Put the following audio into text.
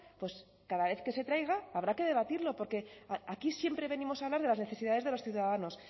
pues cada vez que se traiga habrá que debatirlo porque aquí siempre venimos a hablar de las necesidades de los ciudadanos